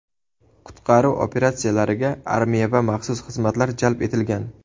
Qutqaruv operatsiyalariga armiya va maxsus xizmatlar jalb etilgan.